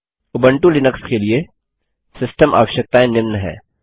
Ubuntu Linux के लिए system आवश्यकताएँ निम्न हैं